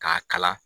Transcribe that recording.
K'a kala